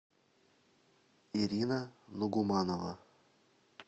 ирина нугуманова